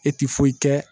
E ti foyi kɛ